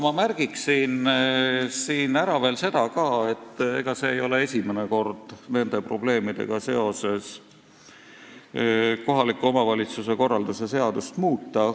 Ma märgin siin ära veel seda, et ega see ei ole esimene kord, kui on olnud vaja nende probleemide tõttu kohaliku omavalitsuse korralduse seadust muuta.